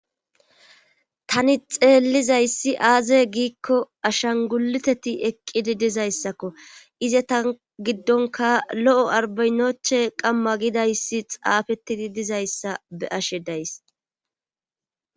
tani xeellizayssi aaze giikko ashanguliteti eqqidi dizayssakko ize tan giddonka lo7o arbaynoche qamma gidayssi xaafettidi dizayssa be ashe days